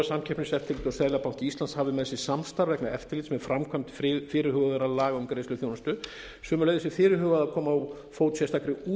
samkeppniseftirlit og seðlabanki íslands hafi með sér samstarf vegna eftirlits með framkvæmd fyrirhugaðra laga um greiðsluþjónustu sömuleiðis er fyrirhugað að koma á fót sérstakri